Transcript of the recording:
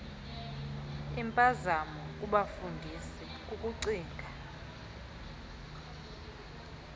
impazamo kubefundisi kukucinga